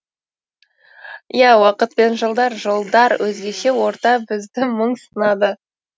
иә уақыт пен жылдар жолдар өзгеше орта бізді мың сынады